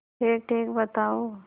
ठीकठीक बताओ